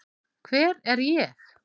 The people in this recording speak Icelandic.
Hver er ég?